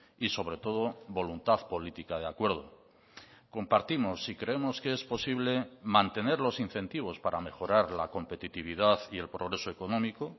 y sobre todo voluntad política de acuerdo compartimos y creemos que es posible mantener los incentivos para mejorar la competitividad y el progreso económico